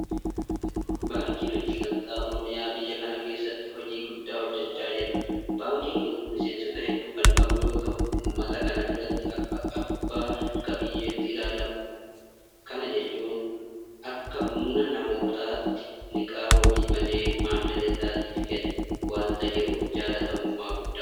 Baankiin Hojii gamtaa Oromiyaa biyya kana keessatti hojii guddaa hojjechaa jira. Baankiin kun miseensota hedduu kan qabu yeroo ta'u uummata kana biratti akka abbaa qabiyyeetti ilaalama. Kana jechuun akka humna namootaatti liqaa wabii malee maamila isaatiif kennaa waanta jiruuf jaalatamummaa guddaa qaba.